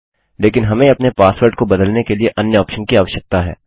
लेकिन हमें अपने पासवर्ड को बदलने के लिए अन्य ऑप्शन की आवश्यकता है